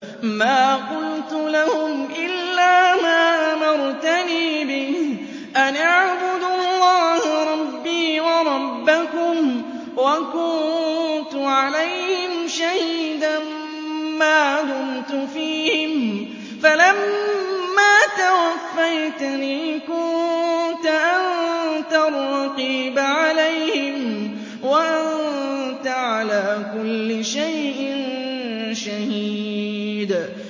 مَا قُلْتُ لَهُمْ إِلَّا مَا أَمَرْتَنِي بِهِ أَنِ اعْبُدُوا اللَّهَ رَبِّي وَرَبَّكُمْ ۚ وَكُنتُ عَلَيْهِمْ شَهِيدًا مَّا دُمْتُ فِيهِمْ ۖ فَلَمَّا تَوَفَّيْتَنِي كُنتَ أَنتَ الرَّقِيبَ عَلَيْهِمْ ۚ وَأَنتَ عَلَىٰ كُلِّ شَيْءٍ شَهِيدٌ